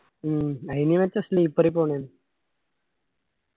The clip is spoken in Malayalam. മ്മ് അയില് മെച്ചം sleeper ഇ പൊന്ന്യാണ്